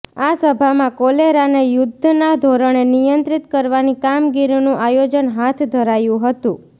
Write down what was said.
આ સભામાં કોલેરાને યુદ્ધના ધોરણે નિયંત્રીત કરવાની કામગીરીનું આયોજન હાથ ધરાયું હતું